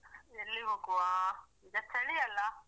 ಎಲ್ಲಿ ಹೋಗುವ ಈಗ ಚಳಿ ಅಲ್ಲ.